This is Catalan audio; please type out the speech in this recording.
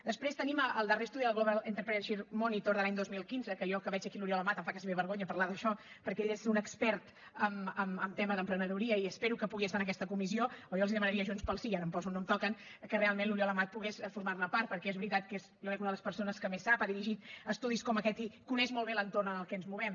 després tenim el darrer estudi del global entrepreneurship monitor de l’any dos mil quinze que jo que veig aquí l’oriol amat em fa gairebé vergonya parlar d’això perquè ell és un expert en tema d’emprenedoria i espero que pugui estar en aquesta comissió o jo els demanaria a junts pel sí i ara em poso on no em toca que realment l’oriol amat pogués formar ne part perquè és veritat que és jo crec una de les persones que més en sap ha dirigit estudis com aquest i coneix molt bé l’entorn en què ens movem